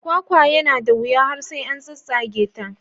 Kwakwa yana da wuya har sai an tsattsage ta.